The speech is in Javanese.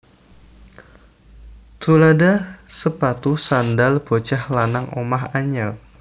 Tuladha sepatu sandhal bocah lanang omah anyar